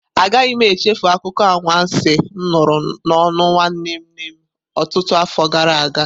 Agaghị m echefu akụkọ anwansi m nụrụ n'ọnụ nwanne nne m ọtụtụ afọ gara aga.